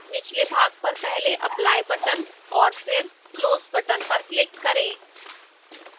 निचले भाग पर पहले apply button और फिर close button पर click करें